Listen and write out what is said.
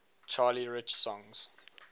charlie rich songs